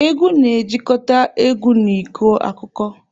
Egwu na-ejikọta egwu na ịkọ akụkọ.